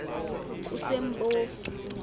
kusempofu